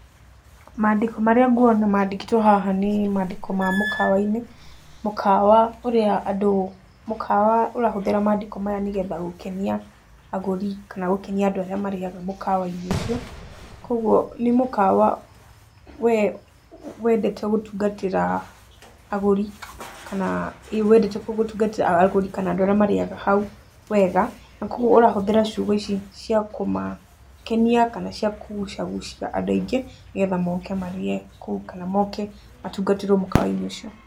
Mandĩko marĩa nguona mandĩkĩtwo haha nĩ mandĩko ma mũkawa-inĩ, mũkawa ũrĩa andũ, mũkawa ũrahũthĩra mandĩko maya nĩgetha gũkenia agũri kana gũkenia andũ arĩa marĩaga mũkawa-inĩ ũcio, kogwo nĩ mũkawa we wendete gũtungatĩra agũri, kana wendete gũtungatĩra agũri kana andũ arĩa marĩaga hau wega, na kogwo ũrahũthĩra ciugo ici cia kũmakenia, kana cia kũgucagucia andũ aingĩ, nĩgetha moke marĩe kũu kana moke matungatĩrwo mũkawa-inĩ ũcio.